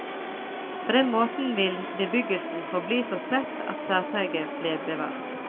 På den måten ville bebyggelsen forbli så spredt at særpreget ble bevart.